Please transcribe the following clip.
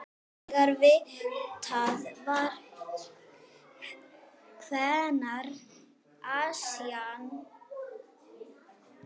Þegar vitað var hvenær Esjan